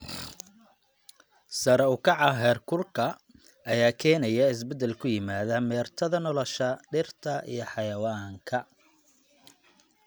Sare u kaca heerkulka ayaa keenaya isbeddel ku yimaada meertada nolosha dhirta iyo xayawaanka.